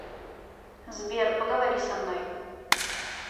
сбер поговори со мной